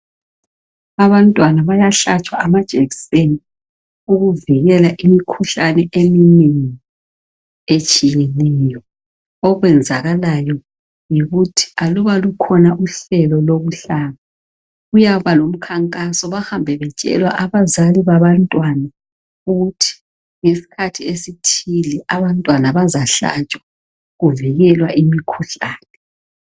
abantwana bayahlatshwa ama jekiseni ukuvikela imikhuhlane eminengi etshiyeneyo okwenzakalayo yikuthi aluba lukhona uhlelo lokuhlaba kuyaba ngukhankaso bahambe betshela abazali babantwana ukuthi ngesikhathi esithile abantwana bazahlatshwa kuvikelwa imikhuhlane